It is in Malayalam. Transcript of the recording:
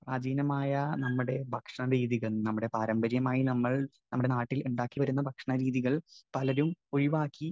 സ്പീക്കർ 1 പ്രാചീനമായ നമ്മുടെ ഭക്ഷണരീതികൾ, നമ്മുടെ പാരമ്പര്യമായി നമ്മൾ നമ്മുടെ നാട്ടിൽ ഉണ്ടാക്കിവരുന്ന ഭക്ഷണരീതികൾ പലരും ഒഴിവാക്കി